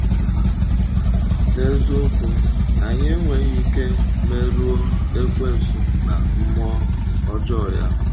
N’eziokwu, anyị enweghị ike merụọ Ekwensu na mmụọ ọjọọ ya.